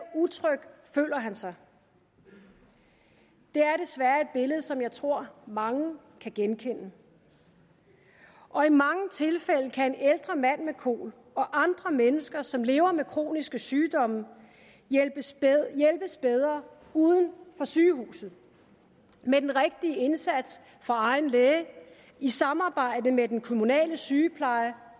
utryg føler han sig det er desværre et billede som jeg tror mange kan genkende og i mange tilfælde kan en ældre mand med kol og andre mennesker som lever med kroniske sygdomme hjælpes bedre uden for sygehuset med den rigtige indsats fra egen læge i samarbejde med den kommunale sygepleje